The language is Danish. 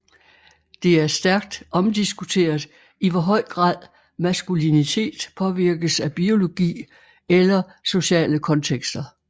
Det er stærkt omdiskuteret i hvor høj grad maskulinitet påvirkes af biologi eller sociale kontekster